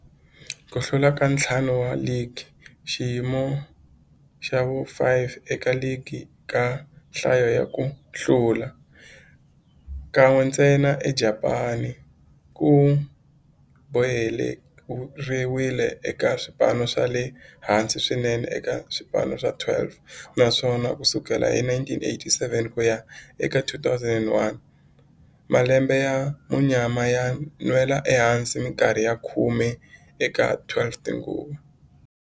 Ku hlula ka ntlhanu wa ligi, xiyimo xa vu-5 eka ligi eka nhlayo ya ku hlula, kan'we ntsena eJapani, ku boheleriwile eka swipano swa le hansi swinene eka swipano swa 12, naswona ku sukela hi 1987 ku ya eka 2001, malembe ya munyama yo nwela ehansi minkarhi ya khume eka 15 tinguva.